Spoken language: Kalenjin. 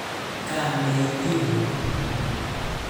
Kaam ne itiik kuk?